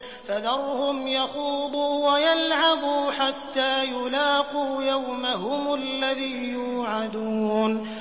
فَذَرْهُمْ يَخُوضُوا وَيَلْعَبُوا حَتَّىٰ يُلَاقُوا يَوْمَهُمُ الَّذِي يُوعَدُونَ